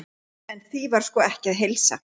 En því var sko ekki að heilsa.